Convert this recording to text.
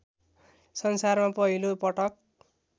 संसारमा पहिलो पटक